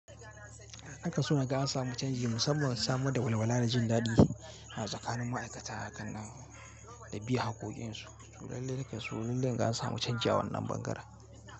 A kaso naga an samu canji musamman samar da walwala da jin daɗi a tsakanin ma'aikata a kan nan da bi hakokin su. So lallai nakeso lallai in ga an samu canji a wannan bangaren.